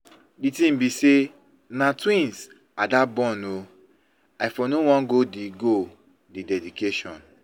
The thing be say na twins Ada born ooo, I for no Wan go the dedication.